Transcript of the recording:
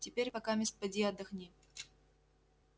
теперь покамест поди отдохни